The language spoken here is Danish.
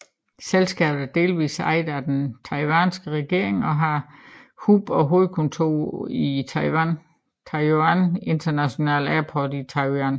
Selskabet er delvist ejet af den taiwanesiske regering og har hub og hovedkontor på Taiwan Taoyuan International Airport i Taoyuan